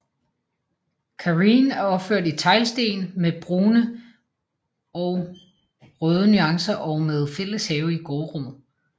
Karreen er opført i teglsten med brune og røde nuancer og med fælles have i gårdrummet